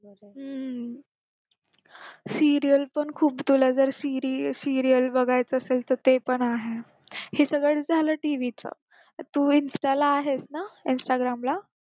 हम्म serial पण खूप तुला जर serial बघायचं असेल तर ते पण आहे हीच जर झालं TV चं तर तू insta ला आहेस ना instagram ला